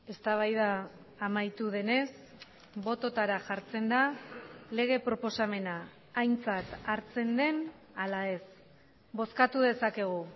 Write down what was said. eztabaida amaitu denez bototara jartzen da lege proposamena aintzat hartzen den ala ez bozkatu dezakegu